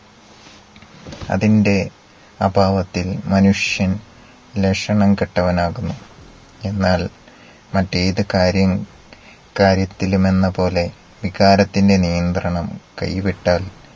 അതിൻ്റെ അഭാവത്തിൽ മനുഷ്യൻ ലക്ഷണം കെട്ടവൻ ആകുന്നു. എന്നാൽ മറ്റേത് കാര്യം കാര്യത്തിലുമെന്ന പോലെ വികാരത്തിന്റ നിയന്ത്രണം കൈവിട്ടാൽ